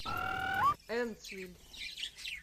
эндсвиль